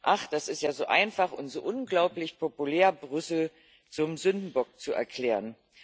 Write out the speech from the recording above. Ach, das ist ja so einfach und so unglaublich populär, Brüssel zum Sündenbock zu erklären.